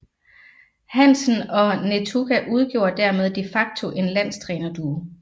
Hansen og Netuka udgjorde dermed de facto en landstrænerduo